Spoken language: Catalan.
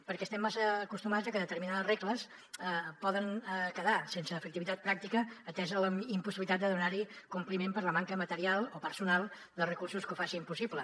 perquè estem massa acostumats a que determinades regles poden quedar sense efectivitat pràctica atesa la impossibilitat de donar hi compliment per la manca material o personal de recursos que ho facin possible